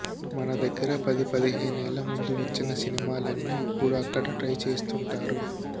మన దగ్గర పది పదిహేనేళ్ల ముందు వచ్చిన సినిమాలన్నీ ఇప్పుడు అక్కడ ట్రై చేస్తుంటారు